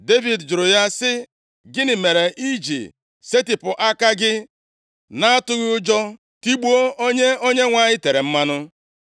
Devid jụrụ ya sị, “Gịnị mere i ji setịpụ aka gị, na-atụghị ụjọ, tigbuo onye Onyenwe anyị tere mmanụ?”